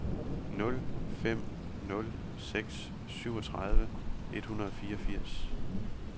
nul fem nul seks syvogtredive et hundrede og fireogfirs